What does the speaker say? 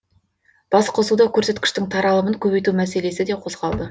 басқосуда көрсеткіштің таралымын көбейту мәселесі де қозғалды